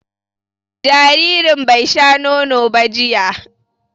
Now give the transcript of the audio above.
Jaririn bai sha nono ba jiya